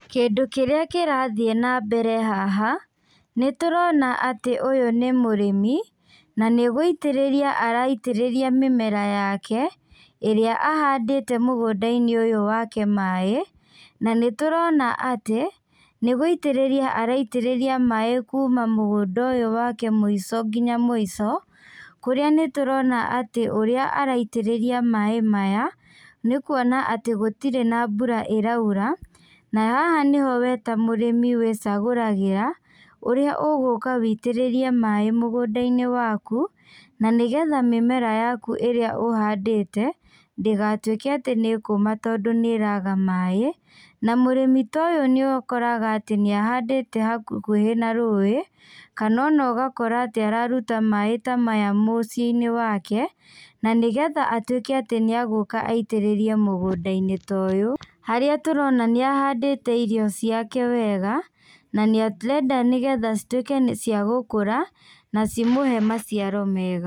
Kĩndũ kĩrĩa kĩrathiĩ nambere haha, nĩtũrona atĩ ũyũ nĩ mũrĩmi, na nĩgũitĩrĩria araitĩrĩria mĩmera yake, ĩrĩa ahandĩte mũgũndainĩ ũyũ wake maĩ, na nĩtũrona atĩ, nĩgũitĩrĩria araitĩrĩria maĩ kuma mũgũnda ũyũ wake mũico nginya mũico, kũrĩa nĩtũrona atĩ ũrĩa araitĩrĩria maĩ maya, nĩkuona atĩ gũtirĩ na mbura ĩraura, na haha nĩho we ta mũrĩmi wĩcagũragĩra, ũrĩa ũgũka witĩrĩrie maĩ mũgũndainĩ waku, na nĩgetha mĩmera yaku ĩrĩa ũhandĩte, ndĩgatuĩke atĩ nĩkũma tondũ nĩraga maĩ, na mũrĩmi ta ũyũ nĩũkoraga atĩ nĩahandĩte hakuhĩ na rũĩ, kana ona ũgakora atĩ araruta maĩ ta maya mũciĩinĩ wake, na nĩgetha atuĩke atĩ nĩagũka aitĩrĩrie mũgũndainĩ ta ũyũ, harĩa tũrona nĩahandĩte irio ciake wega, na nĩarenda nĩgetha cituĩke nĩ ciagũkũra, na cimũhe maciaro mega.